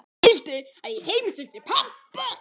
Hann vildi að ég heimsækti pabba.